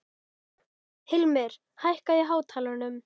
Hilmir, hækkaðu í hátalaranum.